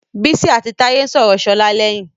Bísí àti Táyé ń sọ̀rọ̀ Ṣọlá lẹ́yìn.